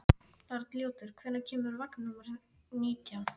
Arnljótur, hvenær kemur vagn númer nítján?